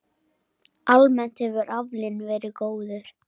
Almennt hefur aflinn verið góður.